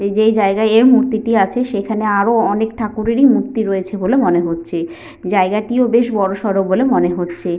এই যে জায়গায় এই মূর্তি টি আছে । সেখানে আরো অনেক ঠাকুর - এরই মূর্তি রয়েছে বলে মনে হচ্ছে । জায়গাটিও বেশ বড় সড় বলে মনে হচ্ছে।